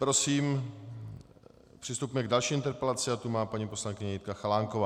Prosím přistupme k další interpelaci a tu má paní poslankyně Jitka Chalánková.